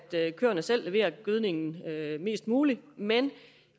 køerne selv leverer gødningen mest muligt men